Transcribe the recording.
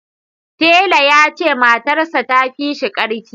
Talle ya ce matarss ta fi shi ƙarfi